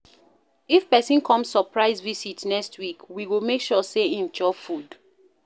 If pesin come surprise visit next week, we go make sure sey im chop food.